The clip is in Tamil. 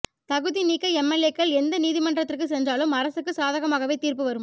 தகுதி நீக்க எம்எல்ஏக்கள் எந்த நீதிமன்றத்துக்கு சென்றாலும் அரசுக்கு சாதகமாகவே தீர்ப்பு வரும்